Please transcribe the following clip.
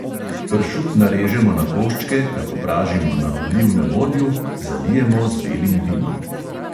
Pršut narežemo na koščke, ga popražimo na olivnem olju, zalijemo z belim vinom.